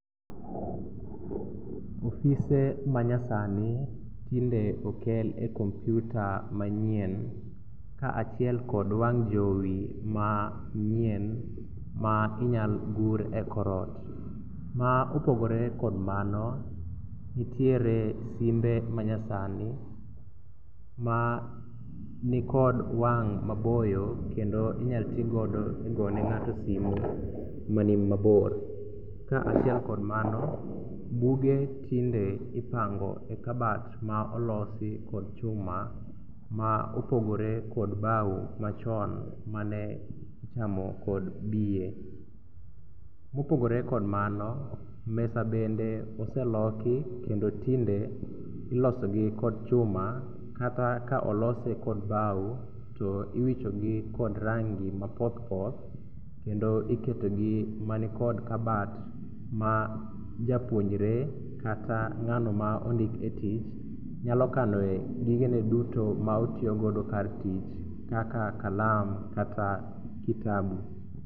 Ofise manyasani tinde okel e kompiuta manyien kaachiel kod wang' jowi manyien ma inyal gur e kor ot. Ma opogore kod mano, nitiere simbe manyasani ma nikod wang' maboyo kendo inyal tigodo e gone ng'ato simu manimabor. kaachiel kod mano, buge tinde ipango e kabat ma olosi kod chuma ma opogore kod bao machon mane ichamo kod biye. Mopogore kod mano, mesa bende oseloki kendo tinde ilosogi kod chuma kata ka olose kod bao to iwichogi kod rangi mapothpoth kendo iketogi manikod kabat ma japuonjre kata ng'ano ma ondik e tich nyalo kanoe gigene duto ma otiyogo kar tich kaka kalam kata kitabu